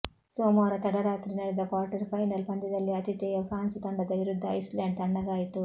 ಸೋಮವಾರ ತಡರಾತ್ರಿ ನಡೆದ ಕ್ವಾರ್ಟರ್ ಫೈನಲ್ ಪಂದ್ಯದಲ್ಲಿ ಅತಿಥೇಯ ಫ್ರಾನ್ಸ್ ತಂಡದ ವಿರುದ್ಧ ಐಸ್ ಲ್ಯಾಂಡ್ ತಣ್ಣಗಾಯಿತು